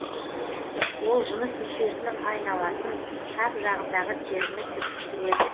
ол жыныс мүшесінің айналасын шап жағындағы теріні түршіктіреді